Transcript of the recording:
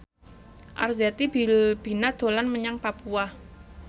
Arzetti Bilbina dolan menyang Papua